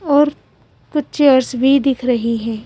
और कुछ चेयर्स भी दिख रही हैं।